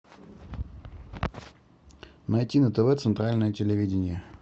найти на тв центральное телевидение